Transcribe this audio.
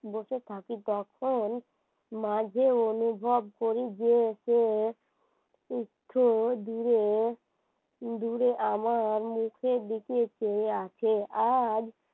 আর বসে থাকি তখন মাঝে অনুভব করি যে যে একটু দূরে আমার মুখের দিকে চেয়ে আছে